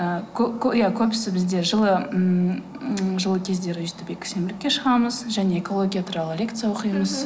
ііі иә көбісі бізде жылы ммм жылы кездері өстіп экосенбілікке шығамыз және экология туралы лекция оқимыз